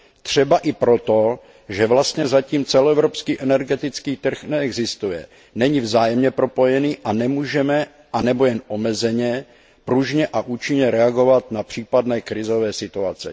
Třeba i proto, že vlastně zatím celoevropský energetický trh neexistuje, není vzájemně propojený a nemůžeme, anebo jen omezeně, pružně a účinně reagovat na případné krizové situace.